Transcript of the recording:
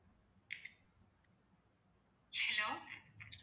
hello